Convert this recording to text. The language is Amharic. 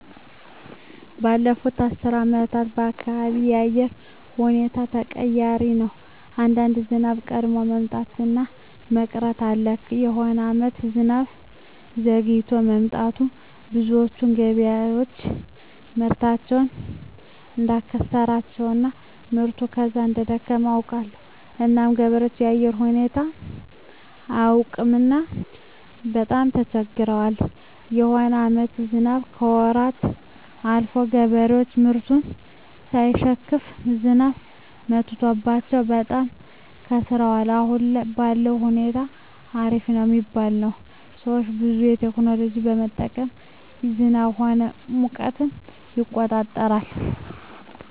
ባለፋት አስር አመታት የአካባቢው የአየር ሁኔታዎች ተቀያሪ ነው አንዳንዴ ዝናብ ቀድሞ መምጣት እና መቅረት አለ የሆነ አመታት ዝናብ ዘግይቶ መጥቱ ብዙዎች ገበሬዎች ምርታቸውን እዳከሰራቸው እና ምርቱ ከዛው እደከሰመ አውቃለሁ እና ገበሬዎች የአየር ሁኔታው አያውቅምና በጣም ተቸግረዋል የሆነ አመታትም ዝናብ ከወራት አልፎ ገበሬዎች ምርቱን ሳይሸክፋ ዝናብ መትቶባቸው በጣም ከስረዋል አሁን ባለዉ ሁኔታ አሪፍ ነው ሚባል ነው ሰዎች ሁሉ ቴክኖሎጂ በመጠቀም ዝናብ ሆነ ሙቀትን ይቆጠራል